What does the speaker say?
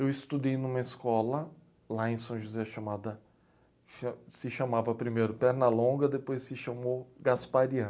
Eu estudei em uma escola lá em São José, cha, se chamava primeiro Pernalonga, depois se chamou Gasparian.